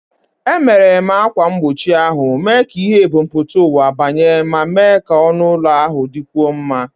Emeghere m ákwà mgbochi ahụ, mee ka ìhè ebumpụta ụwa banye ma mee ka ọnụ ụlọ ahụ dịkwuo mma.